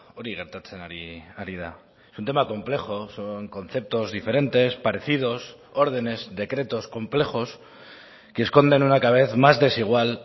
hori gertatzen ari da es un tema complejo son conceptos diferentes parecidos órdenes decretos complejos que esconden una cada vez más desigual